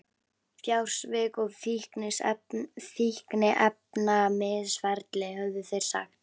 Fjársvik og fíkniefnamisferli, höfðu þeir sagt.